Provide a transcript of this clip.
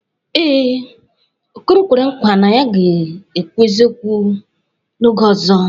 Ee, Okoro kwere nkwa na ya ga-ekwu eziokwu n'oge ọzọ.